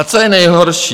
A co je nejhorší?